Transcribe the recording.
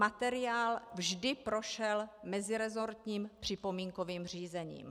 Materiál vždy prošel meziresortním připomínkovým řízením.